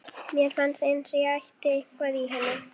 Mér fannst eins og ég ætti eitthvað í henni.